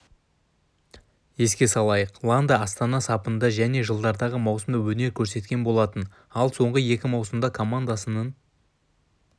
еске салайық ланда астана сапында және жылдардағы маусымда өнер көрсеткен болатын ал соңғы екі маусымда командасының